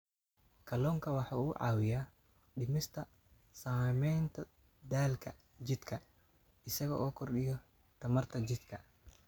Kalluunku waxa uu caawiyaa dhimista saamaynta daalka jidhka isaga oo kordhiya tamarta jidhka.